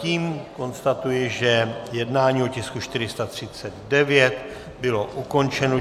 Tím konstatuji, že jednání o tisku 439 bylo ukončeno.